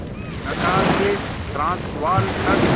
Natal से Transvaal तक